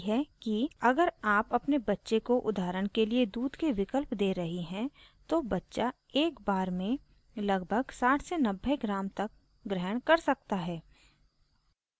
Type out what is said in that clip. अगर आप अपने बच्चे को उदाहरण के लिए दूध के विकल्प दे रही हैं तो बच्चा एक बार में लगभग 6090 ग्राम तक ग्रहण कर सकता है